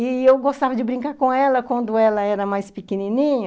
E eu gostava de brincar com ela quando ela era mais pequenininha,